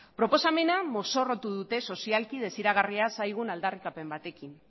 proposamena mozorrotu dute sozialki desiragarria zaigun aldarrikapen batekin